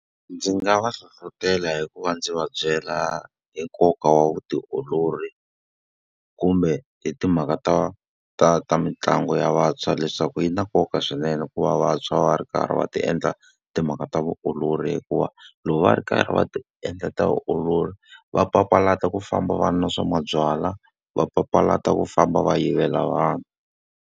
Ndzi nga va hlohletela hikuva ndzi va byela hi nkoka wa vutiolori, kumbe hi timhaka ta ta ta mitlangu ya vantshwa leswaku yi na nkoka swinene ku va vantshwa va ri karhi va ti endla timhaka ta vutiolori. Hikuva loko va ri karhi va ti endla ta vutiolori, va papalata ku famba vana na swa mabyalwa, va papalata ku famba va yivela vanhu.